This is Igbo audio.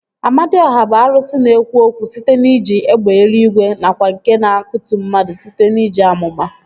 Amadiọha bụ arụsị na-ekwu okwu site n'iji egbe eluigwe nakwa nke na-akutu mmadụ site n'iji amụma